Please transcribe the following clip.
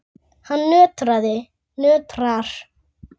Hann nötrar.